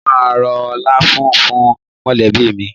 Mo máa ro láfún fún mọ̀lẹ́bí mi.